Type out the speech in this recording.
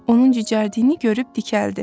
Onun cücərdiğini görüb dikəldi.